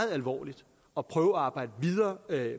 alvorligt og prøve at arbejde videre